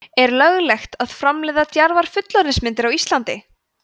er löglegt að framleiða djarfar fullorðinsmyndir á íslandi